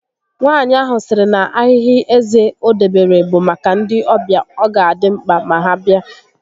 Nwaànyị ahụ sịrị na ahịhị eze o dobere bụ maka ndị ọbịa ọ ga adị mkpa ma ha bịa